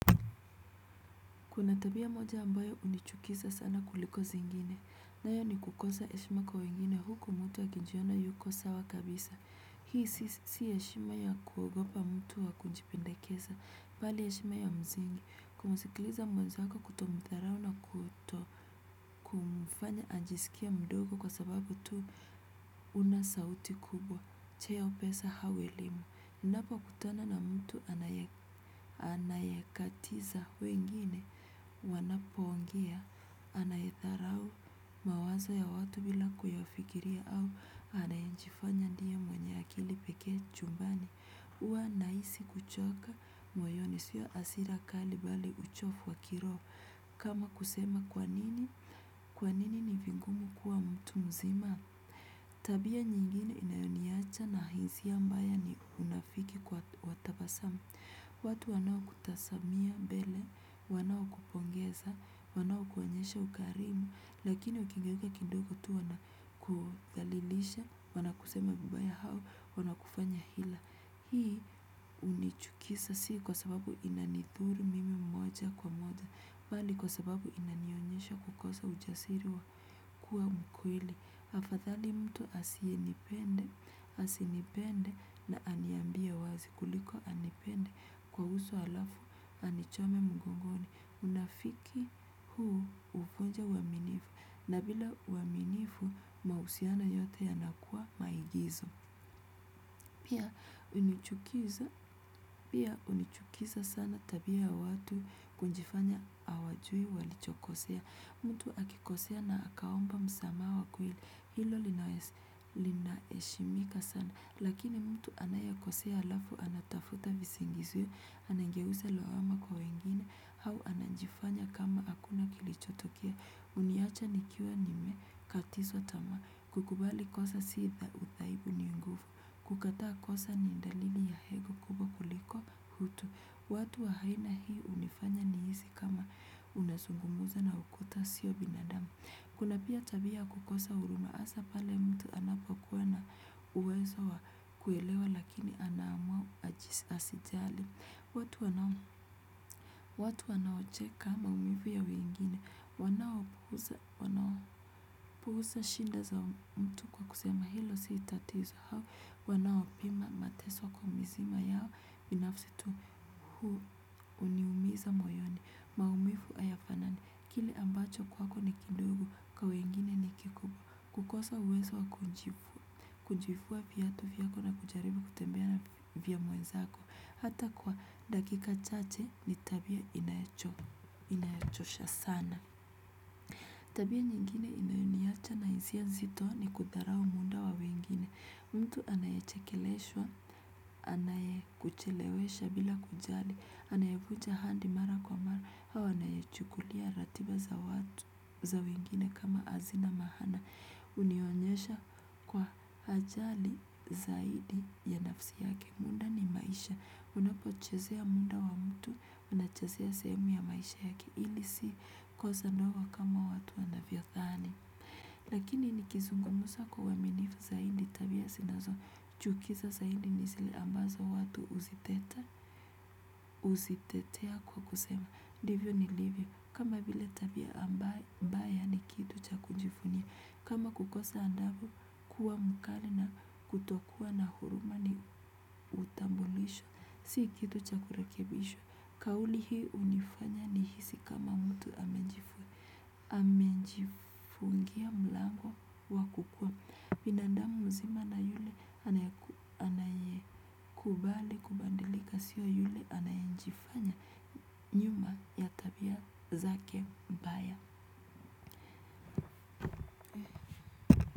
Kuna tabia moja ambayo unichukisa sana kuliko zingine, nayo ni kukosa eshima kwa wengine huku mtu akinjiona yuko sawa kabisa. Hii si eshima ya kuogopa mtu wa kujipendakesa, bali eshima ya mzingi, kumsikiliza mwenzako kutomtharau na kuto kumfanya anjiskie mdogo kwa sababu tu huna sauti kubwa, cheo pesa au elimu, unapo kutana na mtu anayekatiza wengine. Wanapo ongea, anayetharau mawazo ya watu bila kuyafikiria au anayejifanya ndie mwenye akili pekee chumbani. Uwa naisi kuchoka moyoni, sio asira kali bali uchofu wa kiroo. Kama kusema kwa nini, kwa nini ni vingumu kuwa mtu mzima. Tabia nyingine inayoniacha na hisia mbaya ni unafiki kwa wa tabasama. Watu wanao kutasamia mbele, wanao kupongeza, wanao kuonyesha ukarimu, lakini ukingeuka kidogo tu wana kuthalilisha, wana kusema vibaya hao, wana kufanya ila. Hii unichukisa si kwa sababu inanithuru mimi moja kwa moja bali kwa sababu inanionyesha kukosa ujasiri wa kua mkweli. Afadhali mtu asienipende na aniambie wazi kuliko anipende kwa uso alafu anichome mgongoni. Unafiki huu uvunja uaminifu na bila uaminifu mausiano yote yanakua maigizo. Unichukiza sana tabia ya watu kunjifanya awajui walichokosea. Mtu akikosea na akaomba msamaha wa kweli hilo linaeshimika sana. Lakini mtu anayekosea alafu anatafuta visingizio. Anangeuza lawama kwa wengine au anajifanya kama akuna kilichotokea. Uniacha nikiwa nime katizwa tama kukubali kosa si uthaibu ni ngufu. Kukataa kosa ni ndalili ya ego kubwa kuliko utu. Watu wa haina hii unifanya nihisi kama unazungumuza na ukuta sio binadamu. Kuna pia tabia ya kukosa huruma asa pale mtu anapokuwa na uwezo wa kuelewa lakini anaamua asijali. Watu wanaocheka maumivu ya weingine. Wanao puhusa shinda za mtu kwa kusema hilo si tatizo hao wanaopima mateso kwa mzima yao binafsi tu huu uniumiza moyoni maumifu ayafanani kile ambacho kwako ni kidogo kwa wengine ni kikubwa kukosa uwezo wa kunjifua kunjifua viatu vyako na kujaribu kutembea na vya mwenzako hata kwa dakika chache ni tabia inayachosha sana. Tabia nyingine inayoniacha na hisia nzito ni kudharau munda wa wengine. Mtu anayachekeleshwa, anayekuchelewesha bila kujali, anayevuja ahandi mara kwa mara, au anayechukulia ratiba za wengine kama azina maana. Unionyesha kwa hajali zaidi ya nafsi yake. Unapochezea muda wa mtu unachezea sehemu ya maisha yake hili si kosa ndogo kama watu wanavyothani. Lakini nikizungumusa kwa uaminifu zaidi tabia sinazo chukiza zaidi ni zile mbazo watu uzitetea kwa kusema ndivyo nilivyo, kama vile tabia ambaye baya ni kitu cha kama kukosa andavu kuwa mkali na kutokuwa na huruma ni utambulisho, si kitu cha kurekebishwa kauli hii unifanya nihisi kama mtu amejifungia mlango wa kukua binandamu mzima na yule anaye kubale kubadilika sio yule anayenjifanya nyuma ya tabia zake mbaya.